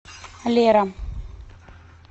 лера